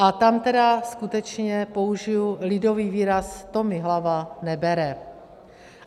A tam tedy skutečně použiji lidový výraz: to mi hlava nebere.